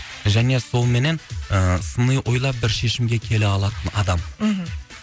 және солменен ы сыни ойлап бір шешімге келе алатын адам мхм